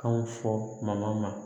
Kanw fɔ ma